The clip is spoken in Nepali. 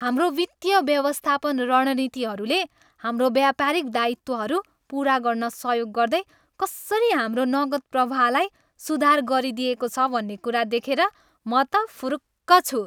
हाम्रो वित्तीय व्यवस्थापन रणनीतिहरूले हाम्रो व्यापारिक दायित्वहरू पुरा गर्न सहयोग गर्दै कसरी हाम्रो नगद प्रवाहलाई सुधार गरिदिएको छ भन्ने कुरा देखेर म त फुरुक्क छु।